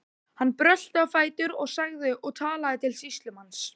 Hann brölti á fætur og sagði og talaði til sýslumanns